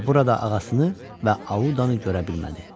Amma burada ağasını və Audanı görə bilmədi.